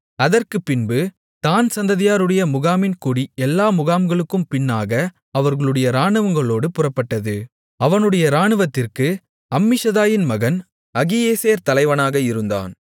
அதற்குப்பின்பு தாண் சந்ததியாருடைய முகாமின் கொடி எல்லா முகாம்களுக்கும் பின்னாக அவர்களுடைய இராணுவங்களோடு புறப்பட்டது அவனுடைய இராணுவத்திற்கு அம்மிஷதாயின் மகன் அகியேசேர் தலைவனாக இருந்தான்